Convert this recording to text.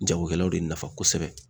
Jagokɛlaw de nafa kosɛbɛ.